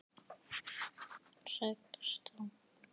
Ekki fara.